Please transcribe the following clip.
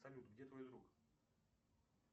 салют где твой друг